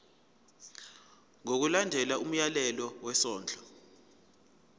ngokulandela umyalelo wesondlo